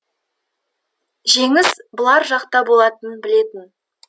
жеңіс бұлар жақта болатынын білетін